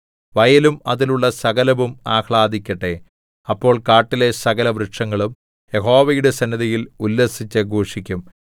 വയലും അതിലുള്ള സകലവും ആഹ്ലാദിക്കട്ടെ അപ്പോൾ കാട്ടിലെ സകലവൃക്ഷങ്ങളും യഹോവയുടെ സന്നിധിയിൽ ഉല്ലസിച്ചു ഘോഷിക്കും